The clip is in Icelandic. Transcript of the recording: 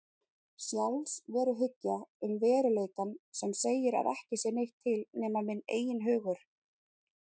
Sjálfsveruhyggja um veruleikann sem segir að ekki sé neitt til nema minn eigin hugur.